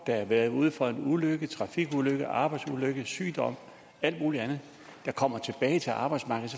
der har været ude for en ulykke trafikulykke arbejdsulykke sygdom alt muligt andet de kommer tilbage til arbejdsmarkedet